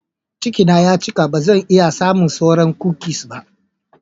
Cikina ya cika, ba zan iya samun sauran kukis ba.